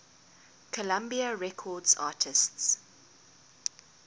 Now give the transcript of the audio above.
columbia records artists